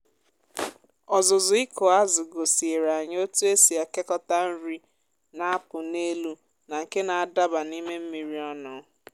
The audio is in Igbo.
ọzụzụ ịkụ azụ gosiere anyị otu esi ekekọta nri na-apụ n’elu na nke na-adaba n’ime mmiri ọnụ